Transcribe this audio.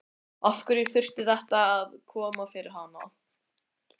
Af hverju þurfti þetta að koma fyrir hana?